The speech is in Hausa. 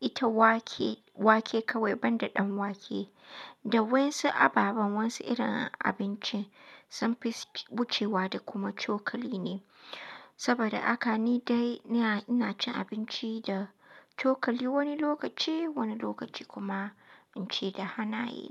ita wake, wake kawai ban da ɗanwake. Dawain su ababen wasu irin abinci sun fi su wuce wa da kuma cokali ne saboda haka ni dai ina ina cin abinci da cokali wani lokaci, wani lokaci kuma inci da hannaye.